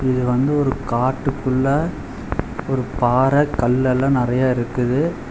இது வந்து ஒரு காட்டுக்குள்ள ஒரு பாற கல்லெல்லா நறையா இருக்குது.